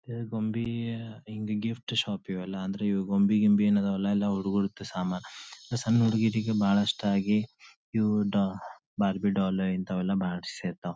ಗೊಂಬಿ ಹಿಂಗ gift shop ಇವೆಲ್ಲ ಅಂದ್ರೆ ಗೊಂಬಿ ಗಿಂಬಿ ಇವೆಲ್ಲ ಎಲ್ಲ ಹುಡ್ಗಿರ್ದು ಸಮಾನ ಸಣ್ಣ ಹುಡುಗೀರಿಗೆ ಇಷ್ಟ ಆಗಿ ಇವು ಬಾರ್ಬಿಡಾಲ್ ಇಂಥವೆಲ್ಲ ಮಾಡ್ಸಿ ಇರ್ತವು.